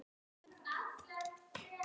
Skál!